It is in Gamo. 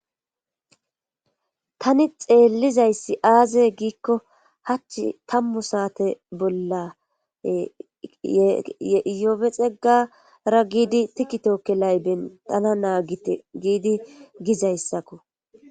tani xeellizayssi aaze giikko hach tammu saate bolla yopexegara giidi tikitokkelay bentana naagite giidi gizayssakko